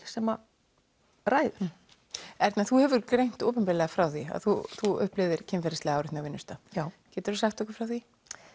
sem ræður Erna þú hefur greint opinberlega frá því að þú þú upplifðir kynferðislega áreitni á vinnustað geturðu sagt okkur frá því